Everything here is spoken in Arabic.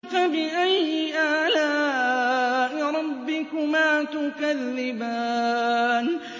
فَبِأَيِّ آلَاءِ رَبِّكُمَا تُكَذِّبَانِ